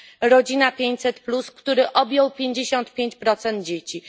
Rodzina 500 plus, który objął 55 dzieci.